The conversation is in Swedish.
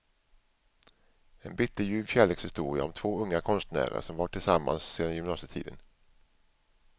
En bitterljuv kärlekshistoria om två unga konstnärer som varit tillsammans sedan gymnasietiden.